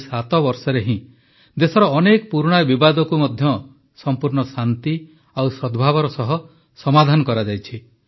ଏହି 7 ବର୍ଷରେ ହିଁ ଦେଶର ଅନେକ ପୁରୁଣା ବିବାଦକୁ ମଧ୍ୟ ସଂପୂର୍ଣ୍ଣ ଶାନ୍ତି ଓ ସଦ୍ଭାବର ସହ ସମାଧାନ କରାଯାଇଛି